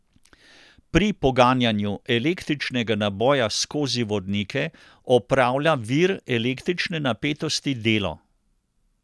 Pri poganjanju električnega naboja skozi vodnike opravlja vir električne napetosti delo.